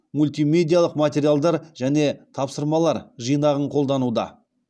мультимедиалық материалдар және тапсырмалар жинағын қолдануда